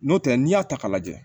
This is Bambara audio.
N'o tɛ n'i y'a ta k'a lajɛ